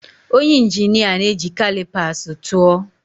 Onye injinia na-eji calipers tụọ.